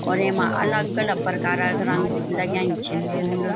और येमा अलग अलग परकारा क रंग लग्याँई छिंन फूल।